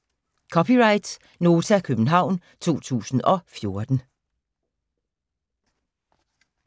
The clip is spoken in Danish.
(c) Nota, København 2014